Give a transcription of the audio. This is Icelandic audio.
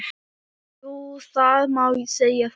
Jú það má segja það.